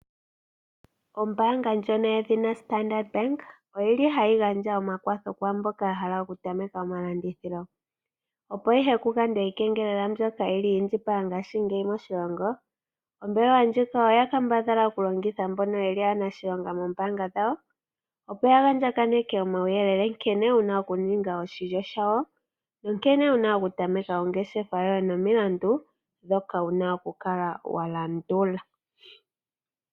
Ombaanga ndjono yedhina Standard bank oyili hayi gandja omakwatho kumboka ya hala oku tameka omalandithilo. Opo ihe ku gandwe iikengelela mbyoka yili yi indjipala ngashingeyi moshilongo, ombelewa ndjika oya kambadhala okulongitha mbono yeli aanashilonga mOombaanga dhawo. Opo ya andjaganeke omauyelele nkene wuna oku ninga oshilyo shawo, no nkene wuna okutameka ongeshefa yoye nomilandu dhoka wuna okukala wa landula.